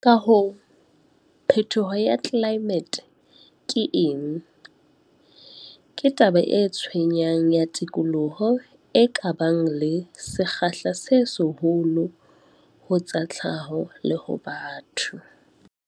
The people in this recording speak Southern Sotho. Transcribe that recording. Ka hoo, 'phetoho ya tlelaemete' ke eng? Ke taba e tshwenyang ya tikoloho, e ka bang le sekgahla se seholo ho tsa tlhaho le ho batho.